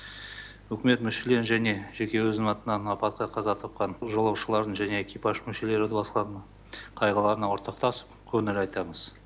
үкімет мүшелері және жеке өзім атынан апатқа қаза тапқан жолаушылардың және экипаж мүшелері туыстарының қайғыларына ортақтасып көңіл айтамыз